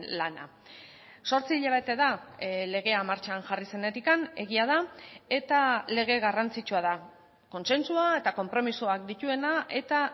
lana zortzi hilabete da legea martxan jarri zenetik egia da eta lege garrantzitsua da kontsentsua eta konpromisoak dituena eta